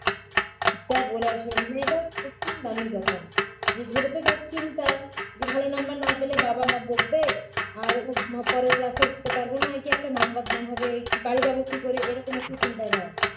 যা বলেছো এটা কঠিন . যা চিন্তা যে ভালো নম্বর না পেলে বাবা-মা বকবে আর উম পরের class এ উঠতে পারব না এই যে একটা নাম বদনাম হবে কি বাড়ি যাব কী করে এ রকম একটা চিন্তাধারা